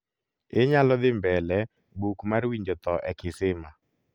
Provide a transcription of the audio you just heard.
inyalo dhi mbele buk mar winjo tho e kisima